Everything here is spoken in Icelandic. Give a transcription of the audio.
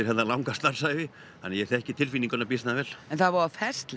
langa starfsævi þannig ég þekki býsna vel en það er voða